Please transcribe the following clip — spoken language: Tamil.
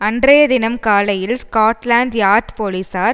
அன்றைய தினம் காலையில் ஸ்காட்லாந்து யார்ட் போலீசார்